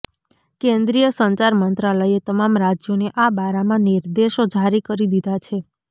કેન્દ્રીય સંચાર મંત્રાલયે તમામ રાજ્યોને આ બારામાં નિર્દેશો જારી કરી દીધા છે